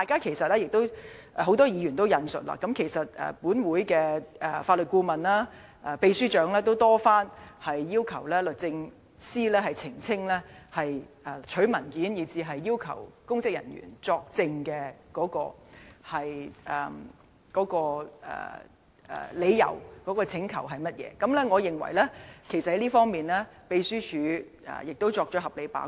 正如很多議員所引述，立法會的法律顧問及秘書長均已多番要求律政司澄清索取文件和要求公職人員作證的理由及請求的內容，而我認為秘書處在這方面已作了合理的把關。